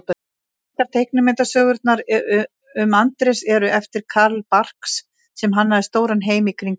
Margar teiknimyndasögurnar um Andrés eru eftir Carl Barks sem hannaði stóran heim í kringum hann.